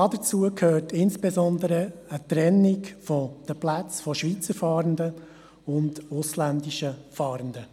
Dazu gehört insbesondere eine Trennung der Plätze von Schweizer Fahrenden und ausländischen Fahrenden.